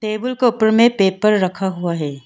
Table के ऊपर में पेपर रखा हुआ है।